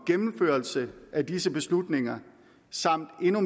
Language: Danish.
gennemførelse af disse beslutninger samt endnu